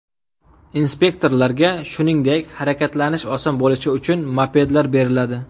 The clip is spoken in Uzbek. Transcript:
Inspektorlarga, shuningdek, harakatlanish oson bo‘lishi uchun mopedlar beriladi.